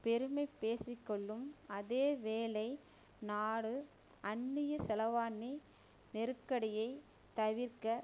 பெருமை பேசிக்கொள்ளும் அதே வேளை நாடு அந்நிய செலவானி நெருக்கடியை தவிர்க்க